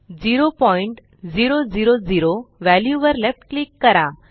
0000 value वर left click करा